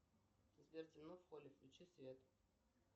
сбер темно в холле включи свет